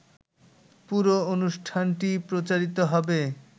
পুরো অনুষ্ঠানটি প্রচারিত হবে